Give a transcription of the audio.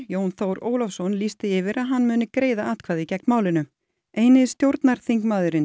Jón Þór Ólafsson Pírati lýst því yfir að hann muni greiða atkvæði gegn málinu eini stjórnarþingmaðurinn